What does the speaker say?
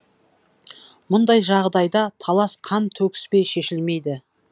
мұндай жағдайда талас қан төгіспей шешілмейді